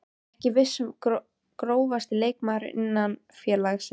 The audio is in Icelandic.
Ekki viss Grófasti leikmaður innan félagsins?